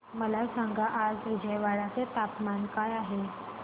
मला सांगा आज विजयवाडा चे तापमान काय आहे